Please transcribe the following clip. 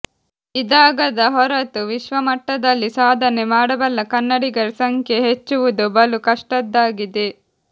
ಇದಾಗದ ಹೊರತು ವಿಶ್ವಮಟ್ಟದಲ್ಲಿ ಸಾಧನೆ ಮಾಡಬಲ್ಲ ಕನ್ನಡಿಗರ ಸಂಖ್ಯೆ ಹೆಚ್ಚುವುದು ಬಲು ಕಷ್ಟದ್ದಾಗಿದೆ